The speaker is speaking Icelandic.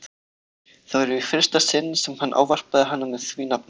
Það var í fyrsta sinn sem hann ávarpaði hana með því nafni.